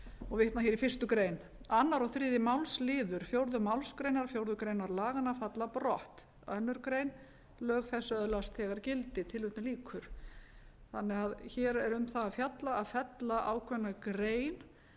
og vitna hér í fyrstu grein annars og þriðja málsl fjórðu málsgrein fjórðu grein laganna falla brott annarri grein lög þessi öðlast þegar gildi þannig að hér er um það fjallað að fella ákveðna grein